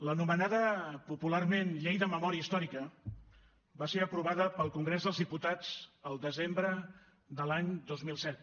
l’anomenada popularment llei de memòria històrica va ser aprovada pel congrés dels diputats el desembre de l’any dos mil set